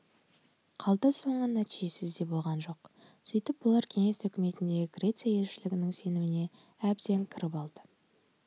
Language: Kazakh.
қалды соңы нәтижесіз де болған жоқ сөйтіп бұлар кеңес үкіметіндегі греция елшілігінің сеніміне әбден кіріп алды